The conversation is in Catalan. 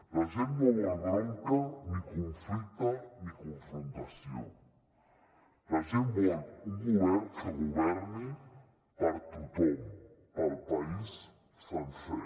la gent no vol bronca ni conflicte ni confrontació la gent vol un govern que governi per a tothom per al país sencer